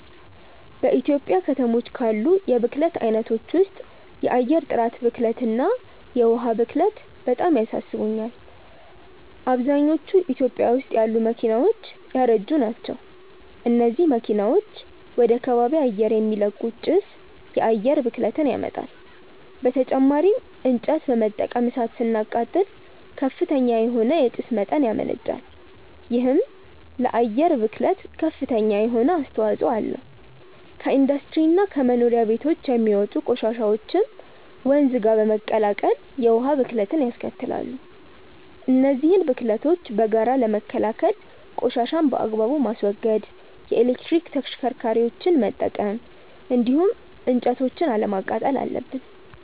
በኢትዮጵያ ከተሞች ካሉ የብክለት አይነቶች ውስጥ የአየር ጥራት ብክለት እና የዉሃ ብክለት በጣም ያሳስቡኛል። አብዛኞቹ ኢትዮጵያ ውስጥ ያሉ መኪናዎች ያረጁ ናቸው። እነዚህ መኪናዎች ወደ ከባቢ አየር የሚለቁት ጭስ የአየር ብክለትን ያመጣል። በተጨማሪም እንጨት በመጠቀም እሳት ስናቃጥል ከፍተኛ የሆነ የጭስ መጠን ያመነጫል። ይሄም ለአየር ብክለት ከፍተኛ የሆነ አስተዋጽኦ አለው። ከኢንዱስትሪ እና ከመኖሪያ ቤቶች የሚወጡ ቆሻሻዎችም ወንዝ ጋር በመቀላቀል የውሃ ብክለትንያስከትላሉ። እነዚህን ብክለቶች በጋራ ለመከላከል ቆሻሻን በአግባቡ ማስወገድ፣ የኤሌክትሪክ ተሽከርካሪዎችን መጠቀም እንዲሁም እንጨቶችን አለማቃጠል አለብን።